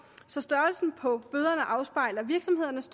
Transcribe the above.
så størrelsen på bøderne afspejler virksomhedernes